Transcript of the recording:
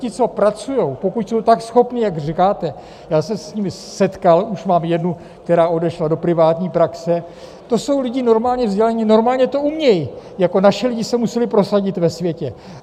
Ti, co pracují, pokud jsou tak schopní, jak říkáte, já se s nimi setkal, už mám jednu, která odešla do privátní praxe, to jsou lidé normálně vzdělaní, normálně to umějí, jako naši lidi se museli prosadit ve světě.